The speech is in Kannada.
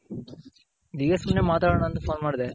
ಹೀಗೆ ಸುಮ್ನೆ ಮಾತಾಡೋಣ ಅಂತ Phone ಮಾಡ್ದೆ.